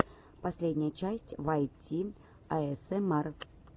последняя часть вайт ти аэсэмар